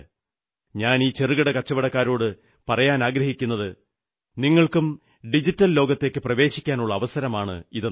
ഞാൻ ഈ ചെറുകിട കച്ചവടക്കാരോടു പറയാനാഗ്രഹിക്കുന്നത് നിങ്ങൾക്കും ഡിജിറ്റൽ ലോകത്തേക്കു പ്രവേശിക്കാനുള്ള അവസരമാണിതെന്നാണ്